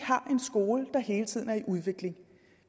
har en skole der hele tiden er i udvikling